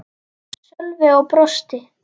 Sölvi og brosti.